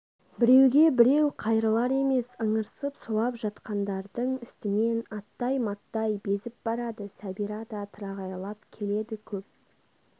біреуге біреу қайрылар емес ыңырсып сұлап жатқандардың үстінен аттай-маттай безіп барады сәбира да тырағайлап келеді көп